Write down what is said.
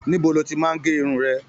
Níbo lo ti máa n gé irun rẹ?